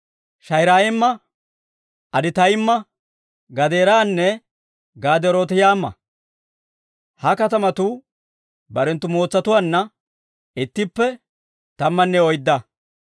Shaa'irayma, Aditaymma, Gadeeranne Gaderootaymma. Ha katamatuu barenttu mootsatuwaanna ittippe tammanne oydda.